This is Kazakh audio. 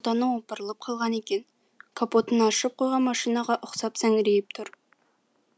біреуінің ұлтаны опырылып қалған екен капотын ашып қойған машинаға ұқсап сәңірейіп тұр